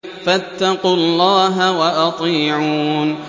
فَاتَّقُوا اللَّهَ وَأَطِيعُونِ